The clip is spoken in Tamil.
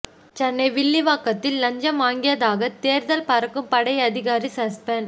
சென்னை வில்லிவாக்கத்தில் லஞ்சம் வாங்கியதாக தேர்தல் பறக்கும் படை அதிகாரி சஸ்பெண்ட்